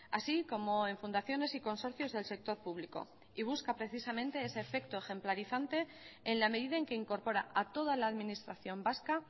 así como en fundaciones y consorcios del sector público y busca precisamente ese efecto ejemplarizante en la medida en que incorpora a toda la administración vasca